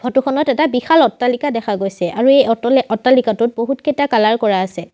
Photo খনত এটা বিশাল অট্টালিকা দেখা গৈছে আৰু এই অট্ট অট্টালিকাটোত বহুতকেইটা কালাৰ কৰা আছে।